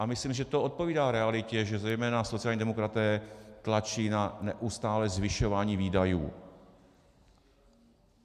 A myslím, že to odpovídá realitě, že zejména sociální demokraté tlačí na neustálé zvyšování výdajů.